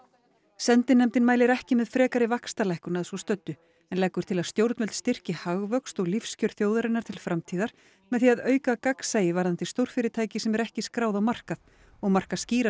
sendinefndin mælir ekki með frekari vaxtalækkun að svo stöddu en leggur til að stjórnvöld styrki hagvöxt og lífskjör þjóðarinnar til framtíðar með því að auka gagnsæi varðandi stórfyrirtæki sem ekki eru skráð á markað og marka skýra